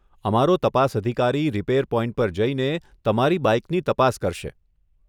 અમારો તપાસ અધિકારી રિપેર પોઇન્ટ પર જઈને તમારી બાઇકની તપાસ કરશે.